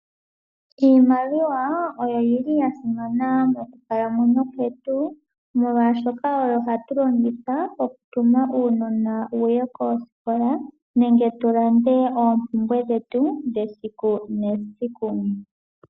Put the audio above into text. Iimaliwa oya simana monkalamwenyo kwetu molwaashoka oyo hatu longitha okutuma uunona wuye koosikola nenge tulande oompumbwe dhetu dhesiku nesiku.